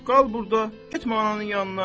Qal burda, getmə ananın yanına.